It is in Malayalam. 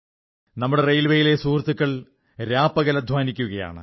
നമ്മുടെ റെയിൽവേയിലെ സുഹൃത്തുക്കൾ രാപകൽ അധ്വാനിക്കുകയാണ്